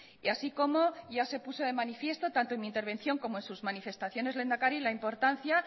y así como ya se puso de manifiesto tanto en mi intervención como en sus manifestaciones lehendakari la importancia